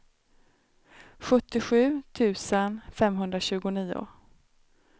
sjuttiosju tusen femhundratjugonio